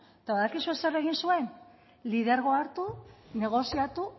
eta badakizue zer egin zuen lidergoa hartu negoziatu